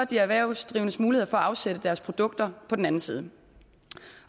de erhvervsdrivendes muligheder for at afsætte deres produkter på den anden side